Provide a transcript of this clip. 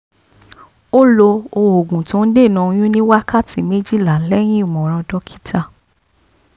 ó lo oògùn tó ń dènà oyún ní wákàtí méjìlá lẹ́yìn ìmọ̀ràn dókítà